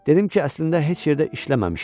Dedim ki, əslində heç yerdə işləməmişəm.